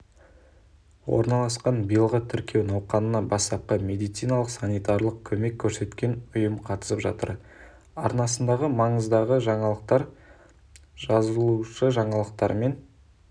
орналасқан биылғы тіркеу науқанына бастапқы медициналық-санитарлық көмек көрсеткен ұйым қатысып жатыр арнасындағы маңыздағы жаңалықтар жазылушы жаңалықтармен